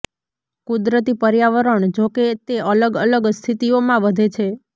કુદરતી પર્યાવરણ જોકે તે અલગ અલગ સ્થિતિઓમાં વધે છે